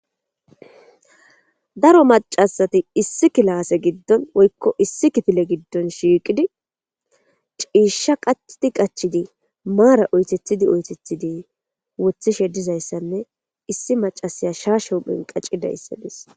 daro macasati issi kilase giddon woykko issi kitile giddon shiiqidi ciisha qachti qachidi maara oytethidi oytethidi wothishe dizayssanne issi macasaya shaashehu phenqacidayssadis